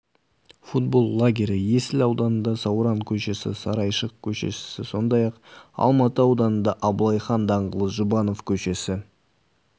футбол лагері есіл ауданында сауран көшесі сарайшық көшесісі сондай-ақ алматы ауданында абылай хан даңғылы жұбанов көшесі